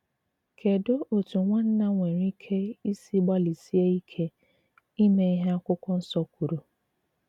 Kèdù òtù nwànnà nwere ìkè ìsì gbàlịsìè ìkè ìmè ìhé akwụ̀kwọ̀ Nsò k̀wùrù?